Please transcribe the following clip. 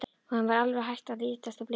Honum var alveg hætt að lítast á blikuna.